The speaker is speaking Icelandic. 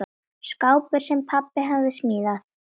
Skápur, sem pabbi hafði smíðað.